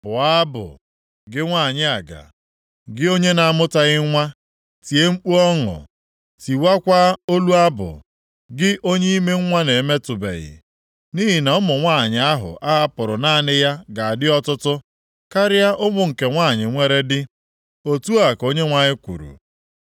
“Bụọ abụ, gị nwanyị aga, gị onye na-amụtaghị nwa; tie mkpu ọṅụ, tiwakwaa olu abụ, gị onye ime nwa na-emetụbeghị; nʼihi na ụmụ nwanyị ahụ a hapụrụ naanị ya ga-adị ọtụtụ karịa ụmụ nke nwanyị nwere di,” Otu a ka Onyenwe anyị kwuru.